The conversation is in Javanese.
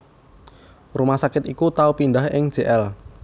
Rumah Sakit iku tau pindhah ing Jl